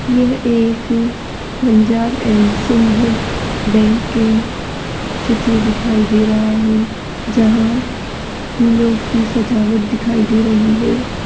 यह एक Punjab and Sindh bank के चित्र दिखाई दे रहा है जहाँ फ़ूलो की सजावट दिखाई दे रही है।